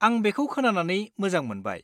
आं बेखौ खोनानानै मोजां मोनबाय।